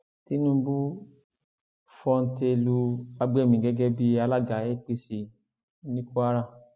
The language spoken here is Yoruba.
tinubu fọńté lu fagbemi gẹgẹ bíi alága apc ní kwara